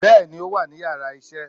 bẹẹni o wa ni íyarà isé.